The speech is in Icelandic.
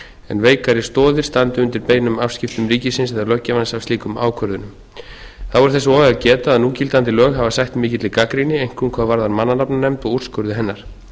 en veikari stoðir standi undir beinum afskiptum ríkisins eða löggjafans af slíkum ákvörðunum þá er þess og að geta að núgildandi lög hafa sætt mikilli gagnrýni einkum hvað varðar mannanafnanefnd og úrskurði hennar þess